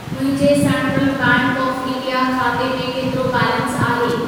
मुंहिंजे Central Bank of India खाते में केतिरो बैलेंस आहे?